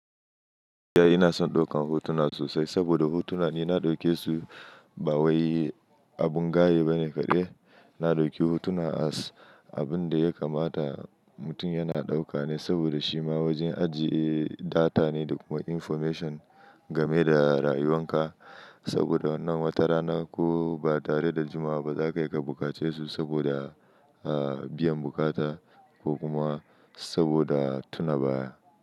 Iya ina son ɗaukan hotuna sosai saboda hotuna ni na ɗauke su ba wai abin gaye ba ne kaɗai. Na ɗauki hotuna as abin da ya kamata mutum yana ɗauka ne saboda shi ma wajen ajiye data ne da kuma information game da rayuwan ka. Saboda wannan watarana ko ba tare da juma'a ba za ka iya ka bukace su saboda, ah, biyan bukata ko kuma saboda tuna baya.